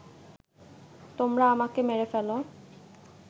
তোমরা আমাকে মেরে ফেল